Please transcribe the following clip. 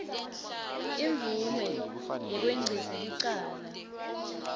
imvume yekwengcisa licala